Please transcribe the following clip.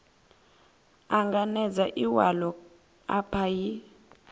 anganedza iwalo a paia a